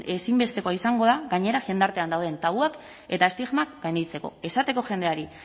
ezinbestekoa izango da gainera jendartean dauden tabuak eta estigmak gainditzeko esateko jendeari